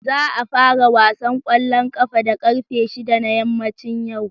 Za a fara wasan kwallon kafa da karfe 6 na yammacin yau.